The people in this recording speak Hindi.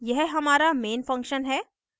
यह हमारा main function है